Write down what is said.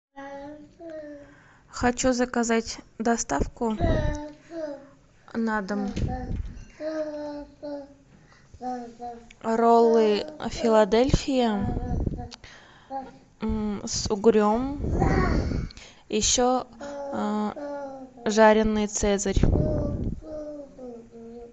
хочу заказать доставку на дом роллы филадельфия с угрем еще жаренный цезарь